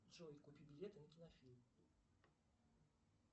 джой купи билеты на кинофильм